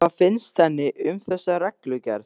Og hvað finnst henni um þessa reglugerð?